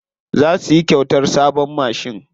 Za su yi kyautar sabon mashin.